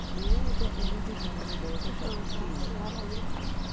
Mũiembe ũhũthĩkaga gũthondeka cutini